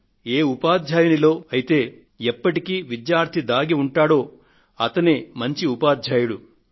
ఏ ఉపాధ్యాయుడిలో అయితే ఎప్పటికీ విద్యార్థి దాగి ఉంటాడో అతడే మంచి ఉపాధ్యాయుడు అని